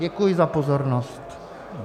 Děkuji za pozornost.